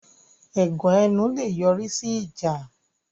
Ẹ̀gàn ẹnu lè yọ̀rí sí ìjà